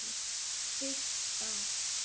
Byggt á